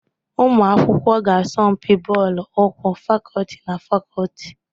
Ụmụ akwụkwọ ga-asọmpi bọọlụ ụkwụ fakọlti na fakọlti.